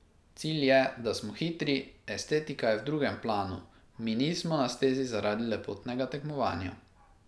Cilj je, da smo hitri, estetika je v drugem planu, mi nismo na stezi zaradi lepotnega tekmovanja.